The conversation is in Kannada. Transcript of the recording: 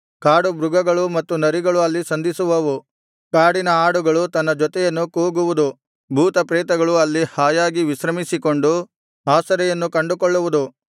ಕಾಡುಮೃಗಗಳು ಮತ್ತು ನರಿಗಳು ಅಲ್ಲಿ ಸಂಧಿಸುವವು ಕಾಡಿನ ಆಡುಗಳು ತನ್ನ ಜೊತೆಯನ್ನು ಕೂಗುವುದು ಭೂತ ಪ್ರೇತಗಳು ಅಲ್ಲಿ ಹಾಯಾಗಿ ವಿಶ್ರಮಿಸಿಕೊಂಡು ಆಸರೆಯನ್ನು ಕಂಡುಕೊಳ್ಳುವುದು